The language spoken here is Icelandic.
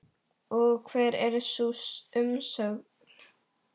Og hver er sú umsögn?